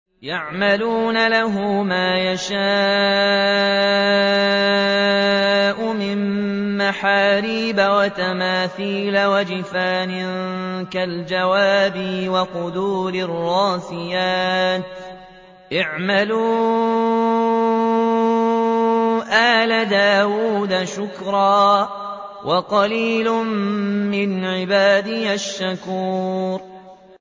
يَعْمَلُونَ لَهُ مَا يَشَاءُ مِن مَّحَارِيبَ وَتَمَاثِيلَ وَجِفَانٍ كَالْجَوَابِ وَقُدُورٍ رَّاسِيَاتٍ ۚ اعْمَلُوا آلَ دَاوُودَ شُكْرًا ۚ وَقَلِيلٌ مِّنْ عِبَادِيَ الشَّكُورُ